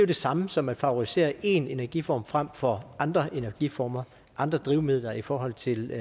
det samme som at favorisere én energiform frem for andre energiformer andre drivmidler i forhold til